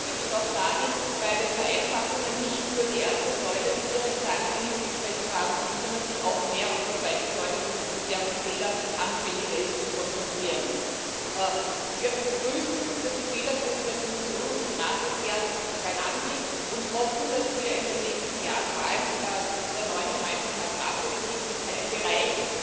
Das heißt, die Bitte geht auch dahin, bei den Vereinfachungen nicht nur die erste Säule, die Direktzahlungen, im Blickfeld zu haben, sondern sich auch mehr auf die zweite Säule, die sehr viel fehleranfälliger ist, zu konzentrieren. Wir begrüßen, dass die Fehlerquoten der Kommission und des Rates nahe beieinander liegen und hoffen, dass wir in den nächsten Jahren vor allem mit der neuen Gemeinsamen Agrarpolitik einen Bereich